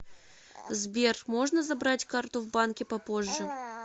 сбер можно забрать карту в банке попозже